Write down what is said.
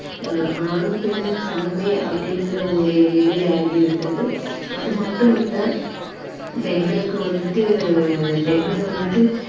ஆனா இன்றைய கால~ இன்றைய காலத்துல வந்துட்டு ஆணும் பெண்ணும் சமமே அப்படிங்குற ஒரு நிலையாகிவிட்டது அது மட்டும் இல்லை பெண்களுக்கு வந்துட்டு பெண்கள் வந்துட்டு